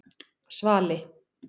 Svali